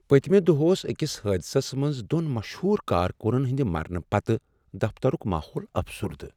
پٔتمہ دۄہ اوس أکس حٲدثس منٛز دۄن مشہوٗر کارکنن ہنٛدِ مرنہٕ پتہٕ دفترک ماحول افسردہ۔